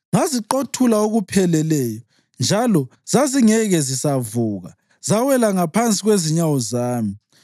Ngaziqothula okupheleleyo, njalo zazingeke zisavuka; zawela ngaphansi kwezinyawo zami.